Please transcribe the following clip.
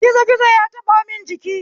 Gizo gizo ya taɓamun jiki